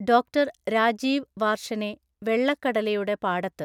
Doctor Rajeev വാർഷനെ വെള്ളക്കടലയുടെ പാടത്ത്.